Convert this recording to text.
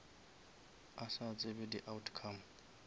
a sa tsebe di outcome